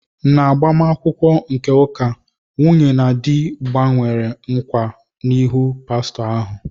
N'agbamakwụkwọ nke ụka, nwunye na di gbanwere nkwa n'ihu pastọ ahụ.